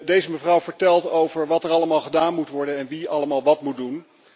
Deze mevrouw vertelt over wat er allemaal gedaan moet worden en wie allemaal wat moet doen.